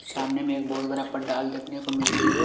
सामने में एक बहुत बड़ा पंडाल देखने को मिल रही हैं।